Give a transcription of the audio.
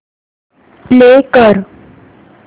play कर